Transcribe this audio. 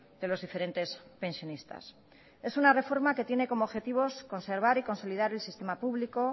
de los diferentes pensionistas es una reforma que tiene como objetivos conservar y consolidar el sistema público